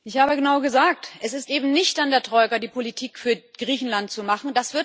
Ich habe genau gesagt Es ist eben nicht an der Troika, die Politik für Griechenland zu machen.